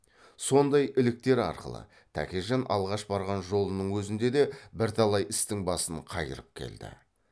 сондай іліктер арқылы тәкежан алғаш барған жолының өзінде де бірталай істің басын қайырып келді